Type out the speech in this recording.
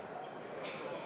Head kolleegid!